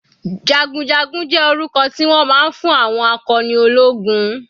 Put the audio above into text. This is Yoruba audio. Jagunjagun jẹ́ orúkọ tí wọ́n máa ń fún àwọn akọni ológun.